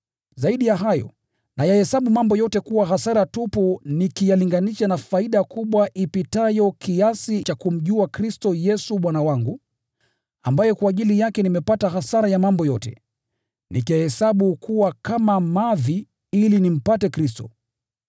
Zaidi ya hayo, nayahesabu mambo yote kuwa hasara tupu nikiyalinganisha na faida kubwa ipitayo kiasi cha kumjua Kristo Yesu Bwana wangu, ambaye kwa ajili yake nimepata hasara ya mambo yote, nikiyahesabu kuwa kama mavi ili nimpate Kristo.